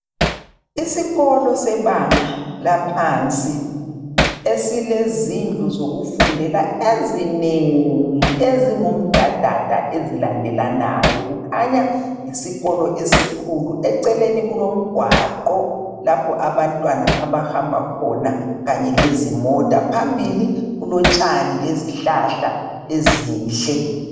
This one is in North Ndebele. Isikolo sebanga laphansi esilezindlu zokufundela ezinengi ezingumdadada ezilandelanayo, kukhanya yisikolo esikhulu. Eceleni kulomgwaqo lapho abantwana abahamba khona kanye lezimota. Phambili kulotshani lezihlahla ezinhle.